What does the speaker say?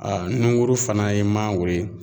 Aa nunguru fana ye mangoro ye